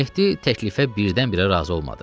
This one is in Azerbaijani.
Mehdi təklifə birdən-birə razı olmadı.